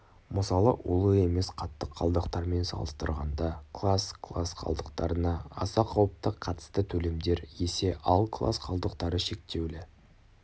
мысалы улы емес қатты қалдықтармен салыстырғанда класс класс қалдықтарына аса қауіпті қатысты төлемдер есе ал класс қалдықтары шектеулі